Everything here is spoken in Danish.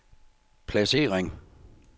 placering